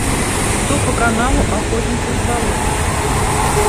что по каналу охотник и рыболов